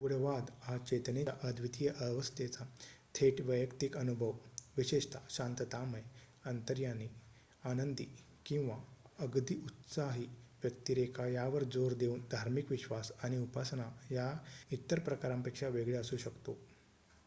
गूढवाद हा चेतनेच्या अद्वितीय अवस्थेचा थेट वैयक्तिक अनुभव विशेषतः शांततामय अंतर्ज्ञानी आनंदी किंवा अगदी उत्साही व्यक्तिरेखा यावर जोर देऊन धार्मिक विश्वास आणि उपासना या इतर प्रकारांपेक्षा वेगळे असू शकतो